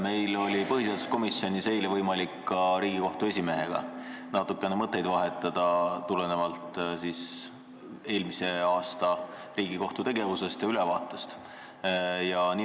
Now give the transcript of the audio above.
Meil oli põhiseaduskomisjonis võimalik eile ka Riigikohtu esimehega natukene mõtteid vahetada, tulenevalt sellest, et arutati eelmise aasta Riigikohtu tegevuse ülevaadet.